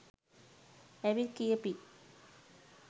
ඇවිත් කියපි